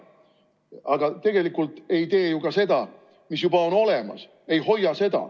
Aga tegelikult ei hoia me ju ka seda, mis juba olemas on.